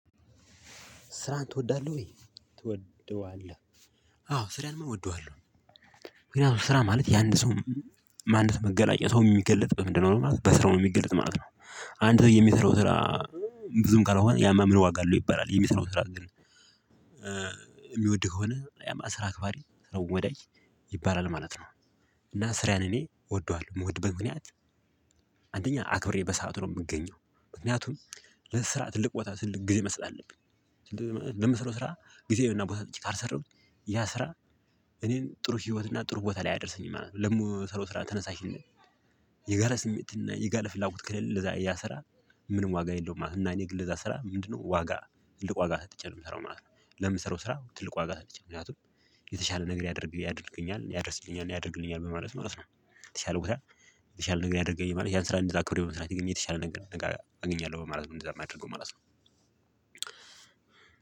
ስራህን ትወዳለህ ወይ? ትወደዋለህ? አዎ፣ ስራንማ እወደዋለሁ፤ ያው ስራ ማለት የአንድ ሰው ማንነት መገለጫ፤ ሰው የሚገልጥ በምንድነው ማለት ነው፤ በስራው ነው የሚገልጥ ማለት ነው፤ አንድ ሰው የሚሰራው ስራ ብዙም ካልሆነ፤ ያማ ምን ዋጋ አለው ይባላል፤ የሚሰራው ስራ ግን የሚወድህ ከሆነ ያማ ስራ አክባሪ ስራውን ዋዳጅ ይባላል ማለት ነው፤ እና ስሪዬን እኔ እወደዋለው፤ ምወድበት ምክንያት፣ አንደኛ አክብሬ በሰአቱ ነው የምገኘው፤ ምክንያቱም፣ ለስራ ትልቅ ቦታ ትልቅ ጊዜ መስጠት አለብኝ፤ ለምሰለው ስራ ጊዜውና ቦታ ሰጥቼ ካልሰራሁ ያ ስራ እኔን ጥሩ ህይወትና ጥሩ ቦታ ላይ አያደርሰኝም ማለት ነው፤ ለምሰራው ስራ ተነሳሽነት የጋለ ስሜት እና የጋለ ፍላጎት ከሌለ ለዛ እያ ስራ ምንም ዋጋ የለውም ማለት ነው፤ እና እኔ ግን ለዛ ስራ ምንድነው? ዋጋ፣ ትልቅ ዋጋ ሰጥቼ ነው የምሰራው ማለት ነው፤ ለምሰራው ስራ ትልቅ ዋጋ ሰጥቼ፤ ምክንያቱም፣ የተሻለ ነገር ያደርግ ያደርግኛል፣ ያደርስልኛል፣ ያደርግልኛል፣ በማለት ማለት ነው፣ የተሻለ ቦታ የተሻለ ነገር ያደረገኝ ማለት ያን ስራ እንደዛ አክብሬ በመስራቴ ግን የተሻለ ነገር ነገ አገኛለሁ በማለት ነው እንደዛ የማደርገው ማለት ነው፤